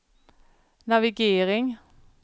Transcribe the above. navigering